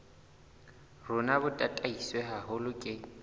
rona bo tataiswe haholo ke